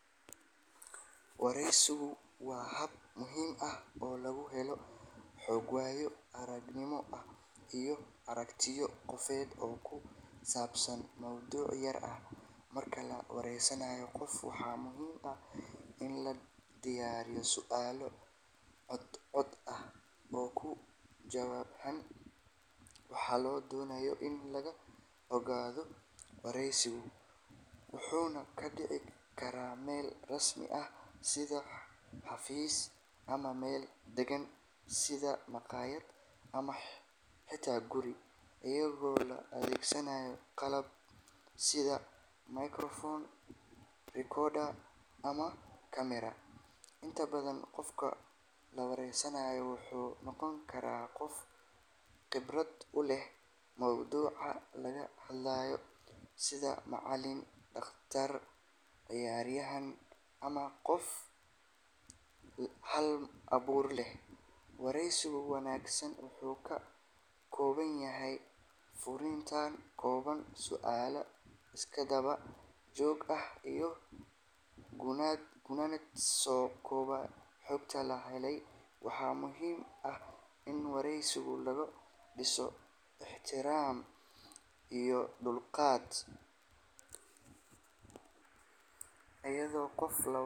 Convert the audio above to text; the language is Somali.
Wareysigu waa hab muhiim ah oo lagu helo xog, waayo-aragnimo iyo aragtiyo qofeed oo ku saabsan mowduuc gaar ah. Marka la wareysanayo qof, waxaa muhiim ah in la diyaariyo su’aalo cad cad oo ku wajahan waxa la doonayo in laga ogaado. Wareysigu wuxuu ka dhici karaa meel rasmi ah sida xafiis, ama meel deggan sida makhaayad ama xitaa guri, iyadoo loo adeegsanayo qalab sida microphone, recorder ama camera. Inta badan, qofka la wareysanayo wuxuu noqon karaa qof khibrad u leh mawduuca laga hadlayo, sida macallin, dhaqtar, ciyaaryahan ama qof hal-abuur leh. Wareysiga wanaagsan wuxuu ka kooban yahay furitaan kooban, su’aalo isdaba joog ah iyo gunaanad soo koobaya xogta la helay. Waxaa muhiim ah in wareysiga lagu dhiso ixtiraam iyo dulqaad, iyadoo qofka.